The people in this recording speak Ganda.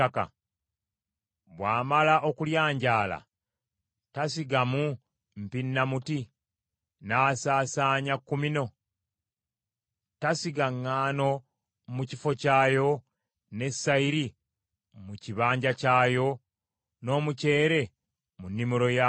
Bw’amala okulyanjaala, tasigamu mpinnamuti, n’asaasaanya kumino? Tasiga ŋŋaano mu kifo kyayo, ne sayiri mu kibanja kyayo, n’omukyere mu nnimiro yaagwo?